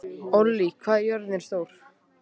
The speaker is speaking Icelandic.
Ollý, hvað er jörðin stór?